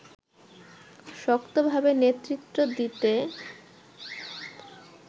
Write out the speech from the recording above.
শক্তভাবে নেতৃত্ব দিতে